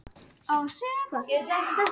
Hann var úr hvítum marmara.